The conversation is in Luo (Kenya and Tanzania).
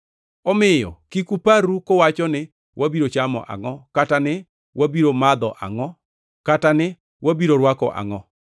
Omiyo kik uparru kuwacho ni, ‘Wabiro chamo angʼo?’ Kata ni, ‘Wabiro madho angʼo?’ Kata ni, ‘Wabiro rwako angʼo?’